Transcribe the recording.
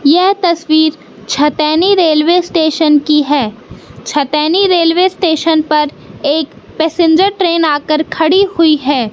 यह तस्वीर Chhataini railway station की है छतैनी रेलवे स्टेशन पर एक पसेंजर ट्रेन आकर खड़ी हुई है।